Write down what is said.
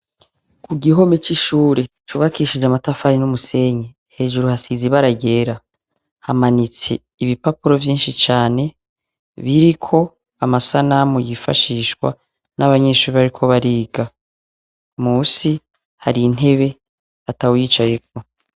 Ku gihome c'ishure cubakishije amatafari n'umusenyi, hejuru hasize ibara ryera, hamanitse ibipapuro vyinshi cane, biriko amasanamu yifashishwa n'abanyeshure bariko bariga, munsi hari intebe atawuyicayeko.